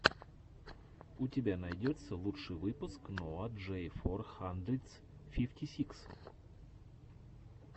у тебя найдется лучший выпуск ноа джей фор хандридс фифти сикс